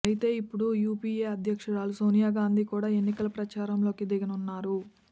అయితే ఇప్పుడు యూపీఏ అధ్యక్షురాలు సోనియా గాంధీ కూడా ఎన్నికల ప్రచారంలోకి దిగనున్నారు